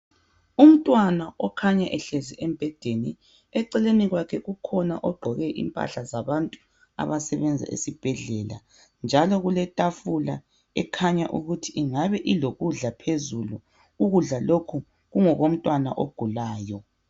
Umntwana okhanya ehlezi embhedeni eceleni kwakhe kukhona ogqoke impahla zabantu abasebenza esibhedlela. Njalo kuletafula ekhanya ukuthi ingabe ilokudla phezulu, ukudla lokhu kungokomntwana ogulayo.